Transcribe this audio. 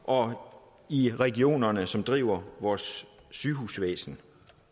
og i regionerne som driver vores sygehusvæsen